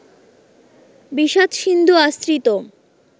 বিষাদ-সিন্ধু আশ্রিত